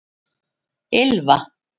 Ylfa